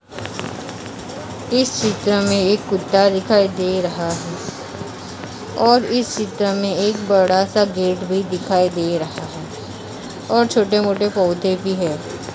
इस चित्र में एक कुत्ता भी दिखाई दे रहा हैं और इस चित्र में एक बड़ा सा गेट भी दिखाई दे रहा हैं और छोटे मोटे पौधे भी हैं ।